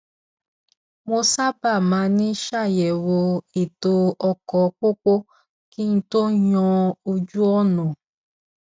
mo sábà máa ń ṣàyẹwò ètò ọkọ pópó kí n tó yàn ojúọnà